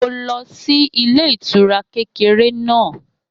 Mo lọ sí ilé ìtura kékeré náà